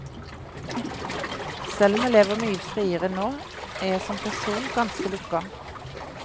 Selv om jeg lever mye friere nå, er jeg som person ganske lukket.